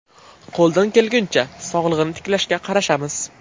Qo‘ldan kelguncha, sog‘lig‘ini tiklashga qarashamiz.